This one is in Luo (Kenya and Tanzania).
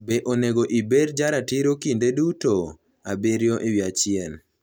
Be Onego Ibed Jaratiro Kinde Duto? 7/1